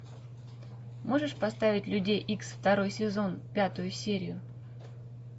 можешь поставить людей икс второй сезон пятую серию